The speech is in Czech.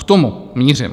K tomu mířím.